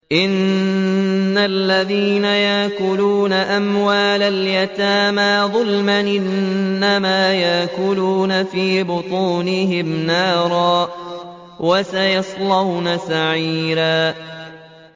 إِنَّ الَّذِينَ يَأْكُلُونَ أَمْوَالَ الْيَتَامَىٰ ظُلْمًا إِنَّمَا يَأْكُلُونَ فِي بُطُونِهِمْ نَارًا ۖ وَسَيَصْلَوْنَ سَعِيرًا